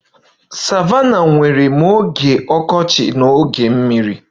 Savannahs nwere ma oge akọrọ na oge mmiri